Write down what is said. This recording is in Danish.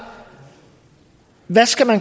hvad skal man